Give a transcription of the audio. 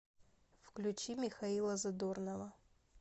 включи михаила задорнова